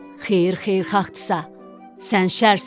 “Xeyir xeyirxahtırsa, sən şərsən.